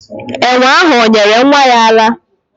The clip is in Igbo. Enwe ahụ o nyere nwa ya ara?